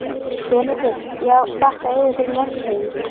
BENEDIKT: Já, þakka yður fyrir, landshöfðingi.